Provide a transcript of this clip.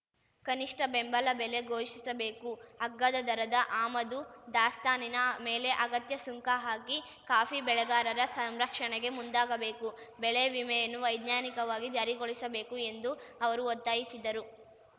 ಕನಿಷ್ಠ ಬೆಂಬಲ ಬೆಲೆ ಘೋಷಿಸಬೇಕು ಅಗ್ಗದ ದರದ ಆಮದು ದಾಸ್ತಾನಿನ ಮೇಲೆ ಅಗತ್ಯ ಸುಂಕ ಹಾಕಿ ಕಾಫಿ ಬೆಳೆಗಾರರ ಸಂರಕ್ಷಣೆಗೆ ಮುಂದಾಗಬೇಕು ಬೆಳೆ ವಿಮೆಯನ್ನು ವೈಜ್ಞಾನಿಕವಾಗಿ ಜಾರಿಗೊಳಿಸಬೇಕು ಎಂದು ಅವರು ಒತ್ತಾಯಿಸಿದರು